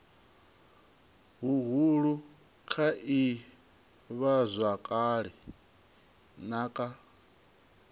huhulu kha ivhazwakale na kha